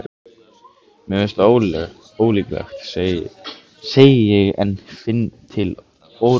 Mér finnst það ólíklegt, segi ég en finn til óróleika.